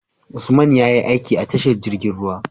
Usman yayi aiki a tashar jirgin ruwa